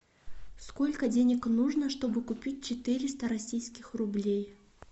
сколько денег нужно чтобы купить четыреста российских рублей